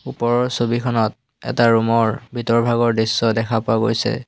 ওপৰৰ ছবিখনত এটা ৰুম ৰ ভিতৰভাগৰ দৃশ্য দেখা পোৱা গৈছে।